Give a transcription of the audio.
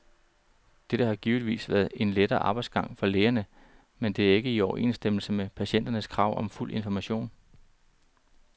Dette har givetvis været en lettere arbejdsgang for lægerne, men det er ikke i overensstemmelse med patienternes krav om fuld information.